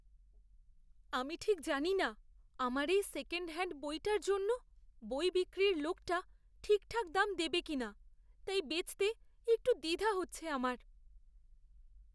আমি ঠিক জানি না আমার এই সেকেণ্ডহ্যাণ্ড বইটার জন্য বই বিক্রির লোকটা ঠিকঠাক দাম দেবে কিনা, তাই বেচতে একটু দ্বিধা হচ্ছে আমার।